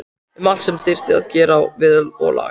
Um allt sem þyrfti að gera við og laga.